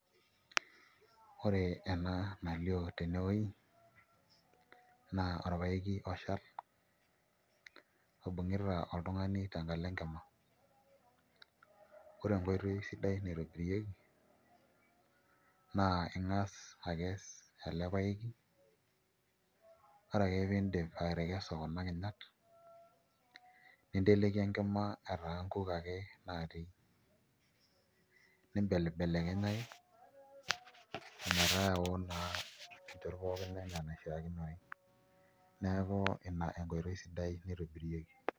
Ore ena nalio tenewuei naa orpaeki oshal oibung'ita oltung'ani tenkalo enkima ore enkoitoi sidai naitobirieki naa ing'as akees ele paeki ore ake piidip atekesu kuna kinyat ninteleiki enkima etaa nkuk ake naatii nimbelibelekenyaki ometaa eoo naa nchot pooki ena enaishiakinore, neeku ina enkoitoi sidai naitobirieki.